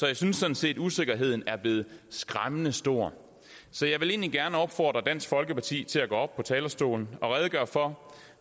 jeg synes sådan set at usikkerheden er blevet skræmmende stor så jeg vil egentlig gerne opfordre dansk folkeparti til at gå op på talerstolen og redegøre for